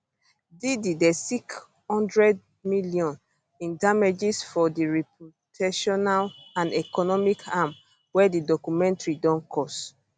diddy dey seek 100m in damages for di reputational and economic harm wey di documentary don cause